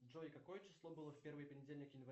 джой какое число было в первый понедельник января